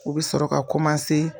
U bɛ sɔrɔ ka